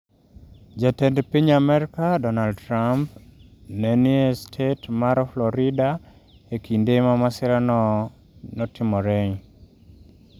Jatend piny Amerka Donald Trump ne ni e stet mar Florida e kinde ma masirano timore.